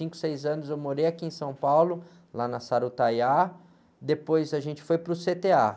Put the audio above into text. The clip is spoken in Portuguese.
Há cinco, seis anos eu morei aqui em São Paulo, lá na Sarutaiá, depois a gente foi para o cê-tê-á.